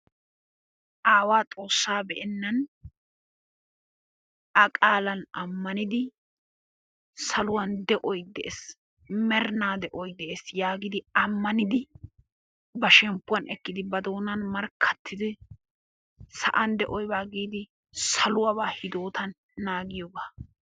Aawaa xoossaa be'ennan A qaalan ammanidi saluwan de'oy de'ees, merinaa de'oy de'ees yaagidi ammanidi ba shemppuwan ekkidi, ba doonan markkattidi sa'an de'oy bawa giidi saluwabaa hidootan naagiyogaa.